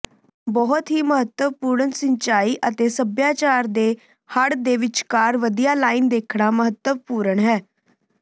ਬਹੁਤ ਹੀ ਮਹੱਤਵਪੂਰਨ ਸਿੰਚਾਈ ਅਤੇ ਸਭਿਆਚਾਰ ਦੇ ਹੜ੍ਹ ਦੇ ਵਿਚਕਾਰ ਵਧੀਆ ਲਾਈਨ ਦੇਖਣਾ ਮਹੱਤਵਪੂਰਣ ਹੈ